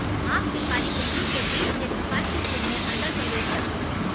आंख की काली पुतली के बीच से प्रकाश की किरणें अंदर प्रवेश करती हैं